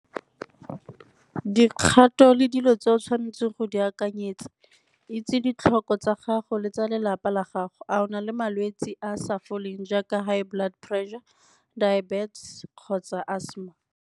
Dikgato le dilo tse o tshwanetseng go di akanyetsa, itse ditlhoko tsa gago le tsa lelapa la gago. A o na le malwetsi a sa foleng jaaka high blood pressure, diabetes kgotsa asthma?